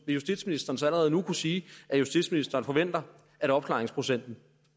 vil justitsministeren så allerede nu kunne sige at justitsministeren forventer at opklaringsprocenten